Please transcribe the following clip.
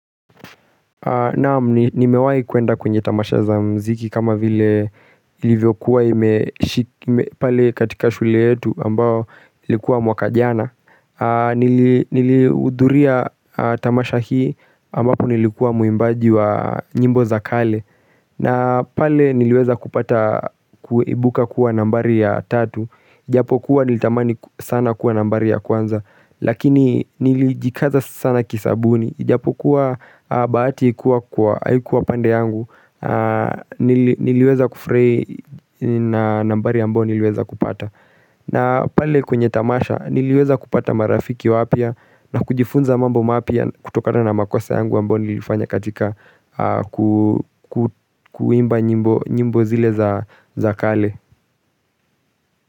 Naam nimewahi kuenda kwenye tamasha za mziki kama vile ilivyokuwa ime pale katika shule yetu ambao ilikuwa mwaka jana nili Nilihudhuria tamasha hii ambapo nilikuwa muimbaji wa nyimbo za kale na pale niliweza kupata kuibuka kuwa nambari ya tatu ijapokua nilitamani sana kuwa nambari ya kwanza Lakini nilijikaza sana kisabuni ijapokua bahati haikua pande yangu nili niliweza kufurahi na nambari ambao niliweza kupata na pale kwenye tamasha niliweza kupata marafiki wapya na kujifunza mambo mapya kutokana na makosa yangu ambao nilifanya katika kuimba nyimbo zile za kale.